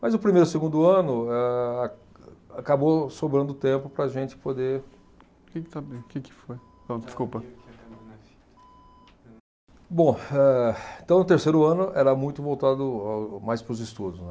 Mas o primeiro e o segundo ano, eh a acabou sobrando tempo para a gente poder. Que que foi. Não desculpa. Bom, eh então o terceiro ano era muito voltado ao mais para os estudos, né.